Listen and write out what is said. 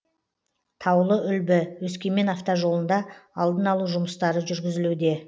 таулы үлбі өскемен автожолында алдын алу жұмыстары жүргізілуде